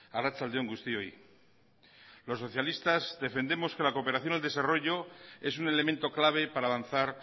arratsalde on guztioi los socialistas defendemos que la cooperación al desarrollo es un elemento clave para avanzar